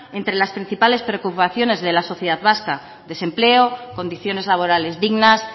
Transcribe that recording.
entre las principales preocupaciones de la sociedad vasca desempleo condiciones laborales dignas